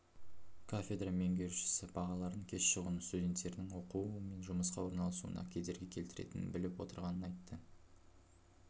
кафедра меңгерушісі бағалардың кеш шығуының студенттердің оқуы мен жұмысқа орналасуына кедергі келтіретінін біліп отырғанын айтты